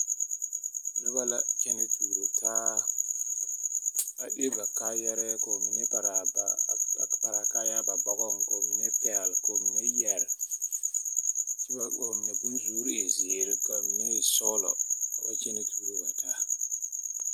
Noba la kyԑnԑ tuuro taa, a le ba kaayԑrԑԑ. ka ba mine paraa a baa a paraa kaayԑrԑԑ ba bͻgͻŋ ka ba mine pԑgele, ka ba mine yԑre. kyԑ ka ba mine bonsuuri e zeere ka a mine e sͻgelͻ ka ba wa kyԑnԑ tuuro bat aa.